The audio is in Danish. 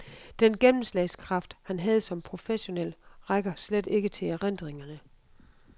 Den gennemslagskraft, han havde som professionel, rækker slet ikke til erindringerne.